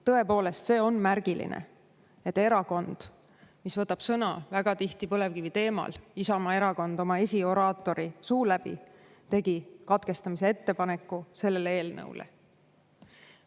Tõepoolest, see on märgiline, et erakond, mis võtab sõna väga tihti põlevkivi teemal, Isamaa Erakond, oma esioraatori suu läbi tegi katkestamise ettepaneku sellele eelnõule.